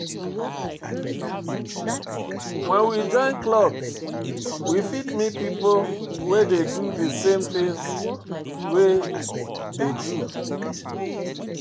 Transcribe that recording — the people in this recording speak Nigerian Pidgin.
When we join club we fit meet pipo wey dey do the same thing wey dey do